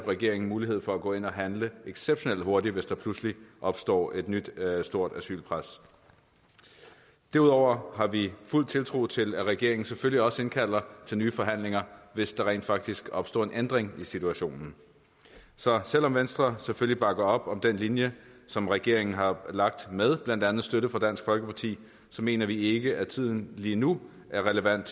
regeringen mulighed for at gå ind og handle exceptionelt hurtigt hvis der pludselig opstår et nyt stort asylpres derudover har vi fuld tiltro til at regeringen selvfølgelig også indkalder til nye forhandlinger hvis der rent faktisk opstår en ændring i situationen så selv om venstre selvfølgelig bakker op om den linje som regeringen har lagt med blandt andet støtte fra dansk folkeparti så mener vi ikke at tiden lige nu er relevant